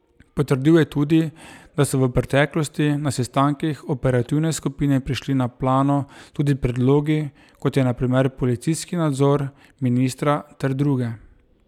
Potrdil je tudi, da so v preteklosti na sestankih operativne skupine prišli na plano tudi predlogi, kot je na primer policijski nadzor ministra, ter druge.